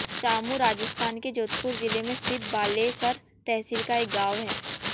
चामू राजस्थान के जोधपुर जिले में स्थित बालेसर तहसील का एक गाँव है